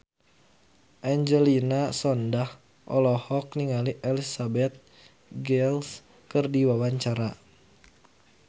Angelina Sondakh olohok ningali Elizabeth Gillies keur diwawancara